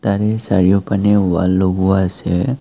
তাৰে চাৰিও পানে ৱাল লগোৱা আছে।